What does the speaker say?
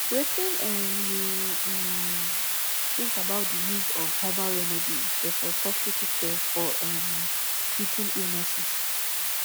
wetin um you um think about di use of herbal remedies versus hospital care for um treating illnesses